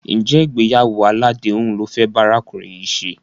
Ǹjẹ́ ìgbéyàwó aládèéhùn lo fẹ́ bá arákùnrin yìí ṣe?